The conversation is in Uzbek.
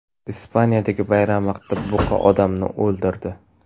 Ispaniyadagi bayram vaqtida buqa odamni o‘ldirdi.